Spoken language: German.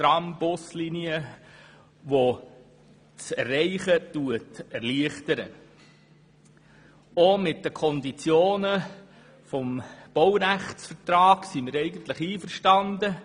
Auch mit den Konditionen des Baurechtsvertrags sind wir eigentlich einverstanden.